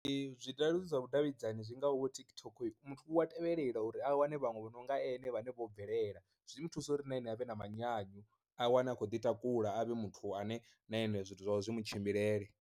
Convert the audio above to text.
Zwileludzi zwa vhudavhidzani zwi ngaho TikTok, muthu u a tevhelela uri a wane vhaṅwe vhononga ane vhane vho bvelela zwi mu thusa uri na ene avhe na manyanyu, a wane a khou ḓi takula avhe muthu ane na ane zwithu zwawe zwi mu tshimbilele.